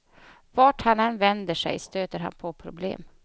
Vart han än vänder sig stöter han på problem.